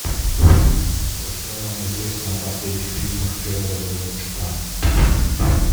джой что вам известно о последних фильмах федора бондарчука